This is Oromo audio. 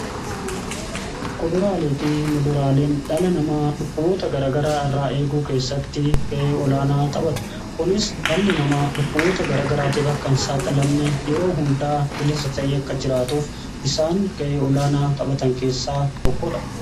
Kuduraalee fi muduraaleen dhalli namaa dhukkuboota garagaraa irraa eeguu keessatti ga'ee olaanaa taphatu. Kunis dhalli namaa dhukkuboota gara garaatiif akka hin saaxilamne yeroo hundaa bilisa ta'ee akka jiraatuuf isaan ga'ee olaanaa taphatan keessaa tokkodha.